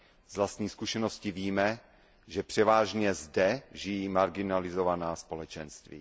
Z vlastní zkušenosti víme, že převážně zde žijí marginalizovaná společenství.